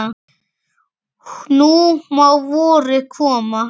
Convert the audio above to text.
Nú má vorið koma.